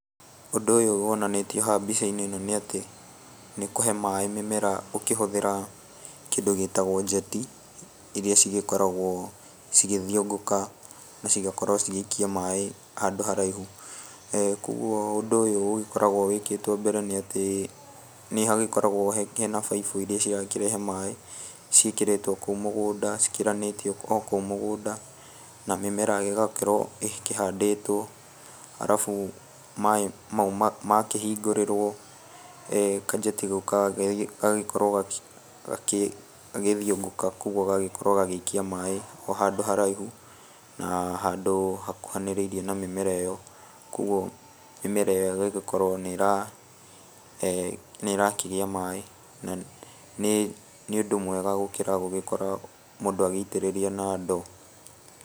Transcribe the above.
Ũndũ ũyũ wonanĩtio haha mbica-inĩ nĩ atĩ nikũhe maĩ mĩmera ũkĩhũthĩra kĩndũ gĩtagwo njeti, iria cigĩkoragwo cigĩthiũngũka cigakorwo cigĩikia maĩ handũ haraihu. Koguo ũndũ ũyũ ũgĩkoragwo wĩkĩtwo mbere nĩ atĩ nĩhagĩkoragwo he he na baibũ iria cirakĩrehe maĩ, ciĩkĩrĩtwo kũu mũgũnda cikĩranĩtie o kũu mũgũnda, na mĩmera ĩgakĩrwo ĩkĩhandĩtwo, arabu maĩ mau makĩhingũrĩrwo kanjeti kau gagĩkorwo gagĩthiũngũka koguo gagĩkorwo gagĩikia maĩ o handũ haraihu, handũ hakuhanĩrĩirie na mĩmera ĩyo. Koguo mĩmera ĩyo ĩgagĩkorwo nĩ nĩ ĩrakĩgĩa maĩ. Na nĩ nĩ ũndũ mwega gũgĩkorwo mũndũ agĩitĩrĩria na ndo.